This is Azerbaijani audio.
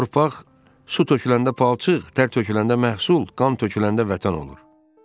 Torpaq su töküləndə palçıq, dər töküləndə məhsul, qan töküləndə Vətən olur.